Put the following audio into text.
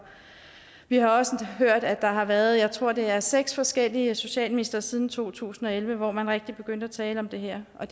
vi har også hørt at der har været jeg tror det er seks forskellige socialministre siden to tusind og elleve hvor man rigtigt begyndte at tale om det her og